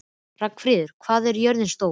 Ragnfríður, hvað er jörðin stór?